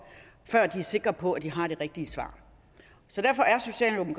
før de er sikre på at de har det rigtige svar så derfor